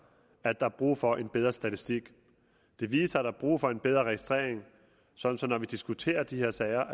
at der er brug for en bedre statistik det viser at der er brug for en bedre registrering sådan at vi diskuterer de her sager